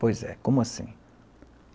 Pois é, como assim?